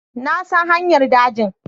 Na san hanyar dajin